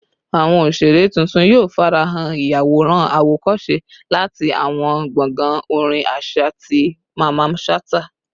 Awọn oṣere titun yoo farahan, iyaworan awokose lati awọn gbongbo orin aṣa ti Mamman Shata